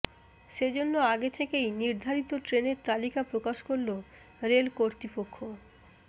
সেজন্য় আগে থেকেই নির্ধারিত ট্রেনের তালিকা প্রকাশ করল রেল কর্তৃপক্ষ